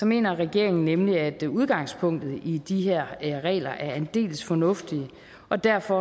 mener regeringen nemlig at udgangspunktet i de her regler er aldeles fornuftigt og derfor